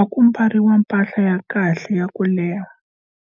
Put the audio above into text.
a ku mbariwa mpahla ya kahle ya ku leha.